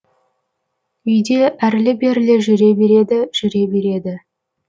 үйде әрлі берлі жүре береді жүре береді